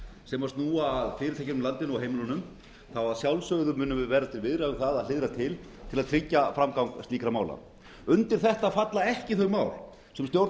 sem snúa að fyrirtækjum í landinu og heimilunum munum við að sjálfsögðu verða til viðræðu um það að hliðra til til að tryggja framgang slíkra mála undir þetta falla ekki þau mál sem